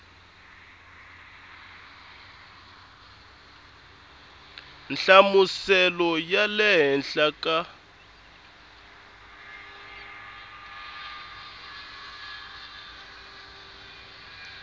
nhlamuselo ya le henhla ka